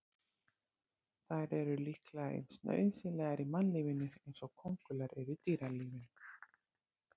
Þær eru líklega eins nauðsynlegar í mannlífinu eins og kóngulær eru í dýralífinu.